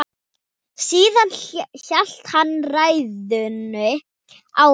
Síðan hélt hann ræðunni áfram